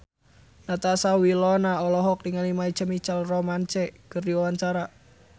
Natasha Wilona olohok ningali My Chemical Romance keur diwawancara